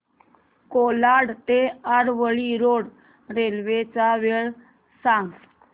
कोलाड ते Aravali road railway च्या वेळा सांग